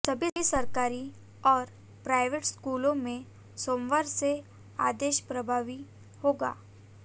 सभी सरकारी और प्राइवेट स्कूलों में सोमवार से आदेश प्रभावी होगा